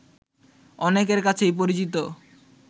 অনেকের কাছেই পরিচিত